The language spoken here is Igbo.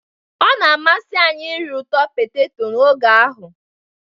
Ọ na-amasị anyị iri ụtọ poteto n'oge ahụ